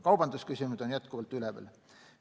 Kaubandusküsimused on jätkuvalt üleval.